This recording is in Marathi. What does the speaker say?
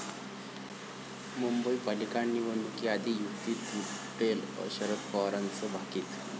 मुंबई पालिका निवडणुकीआधी युती तुटेल, शरद पवारांचं भाकीत